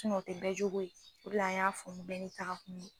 o ti bɛɛ jogo ye, o de la an y'a fɔ ko bɛɛ ni taga kun don